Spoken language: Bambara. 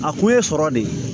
A kun ye sɔrɔ de ye